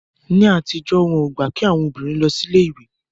Ní àtijọ́, wọn ò gbà kí àwọn obìnrin lọ sí ilé ìwé